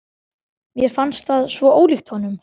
Mér fannst það svo ólíkt honum.